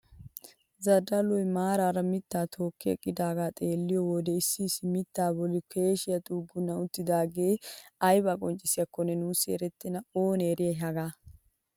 Zadalloy maarara mittaa tokki eqqidaagaa xeelliyoo wode issi issi mittaa bolli keeshshee xugunni uttidagee aybaa qonccisiyaakonne nuussi erettena oonee eriyay hagaa!